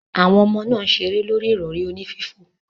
Awon omo naa n sere lori irori oni fifo.